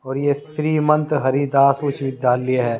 और ये श्रीमंत हरिदास उच्च विद्यालय है।